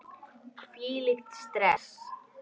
Hvílíkt stress!